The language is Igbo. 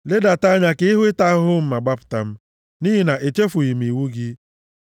Ledata anya ka ị hụ ịta ahụhụ m ma gbapụta m, nʼihi na echefughị m iwu gị.